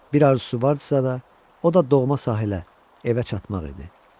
Bir arzu vardısa da, o da doğma sahilə evə çatmaq idi.